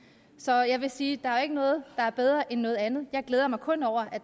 så jeg vil sige der er ikke noget der er bedre end noget andet jeg glæder mig kun over at